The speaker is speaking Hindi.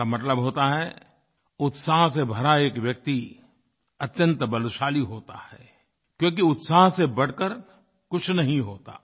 इसका मतलब होता है उत्साह से भरा एक व्यक्ति अत्यन्त बलशाली होता है क्योंकि उत्साह से बढ़ कर कुछ नहीं होता